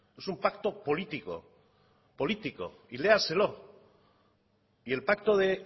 es un pacto político políticos y léaselo y el pacto de